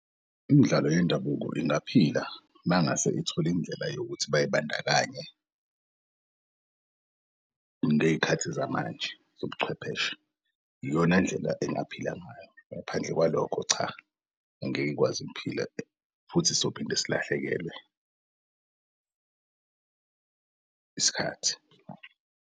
Imidlalo yendabuko ingaphila mangase ithol'indlela yokuthi bay'bandakanye ngey'khathi zamanje zobuchwepheshe, iyona ndlela engaphelanga ngayo. Ngaphandle kwalokho cha angeke ikwazi impilo futhi sizophinde silahlekelwe isikhathi.